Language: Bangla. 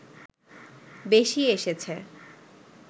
বেশি এসেছে